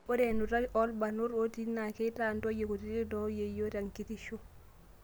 Ore enutai oo lbarnot otii naa keitaa ntoyie kutiti noo yieyo te kitisho